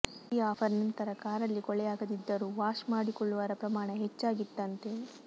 ಈ ಆಫರ್ ನಂತರ ಕಾರಲ್ಲಿ ಕೊಳೆಯಾಗದಿದ್ದರೂ ವಾಷ್ ಮಾಡಿಕೊಳ್ಳುವರ ಪ್ರಮಾಣ ಹೆಚ್ಚಾಗಿತ್ತಂತೆ